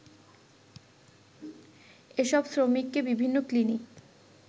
এসব শ্রমিককে বিভিন্ন ক্নিনিক